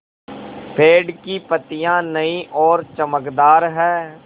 पेड़ की पतियां नई और चमकदार हैँ